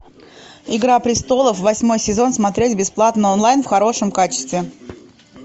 игра престолов восьмой сезон смотреть бесплатно онлайн в хорошем качестве